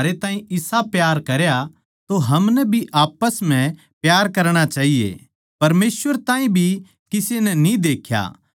इस्से तै हम जाणा सां के हम उस म्ह बणे रह्वा सां अर वो म्हारै म्ह क्यूँके उसनै अपणे पवित्र आत्मा म्ह तै म्हारै ताहीं दिया सै